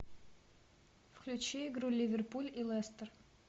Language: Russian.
включи игру ливерпуль и лестер